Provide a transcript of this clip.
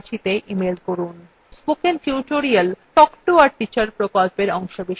spoken tutorial talk to a teacher প্রকল্পের অংশবিশেষ